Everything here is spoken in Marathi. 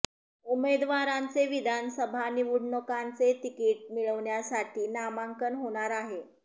उमेदवारांचे विधानसभा निवडणुकांचे तिकीट मिळवण्यासाठी नामांकन होणार आहे